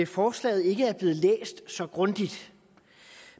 forslaget ikke er blevet læst så grundigt